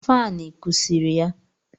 Faanụ kụsiri ya